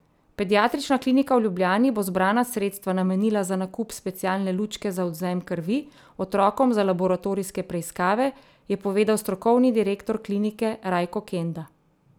Pediatrična klinika v Ljubljani bo zbrana sredstva namenila za nakup specialne lučke za odvzem krvi otrokom za laboratorijske preiskave, je povedal strokovni direktor klinike Rajko Kenda.